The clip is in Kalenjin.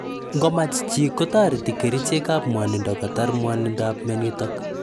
Ngo mach chi, kotareti kerichekap mwanindo kotar mwanindoap mianotok